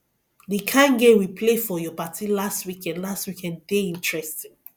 the kin game we play for your party last weekend last weekend dey interesting